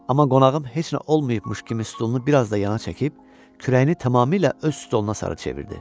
Amma qonağım heç nə olmayıbmış kimi stulunu bir az da yana çəkib, kürəyini tamamilə öz stuluna sarı çevirdi.